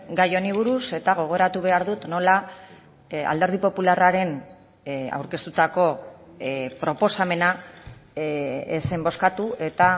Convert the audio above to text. gai honi buruz eta gogoratu behar dut nola alderdi popularraren aurkeztutako proposamena ez zen bozkatu eta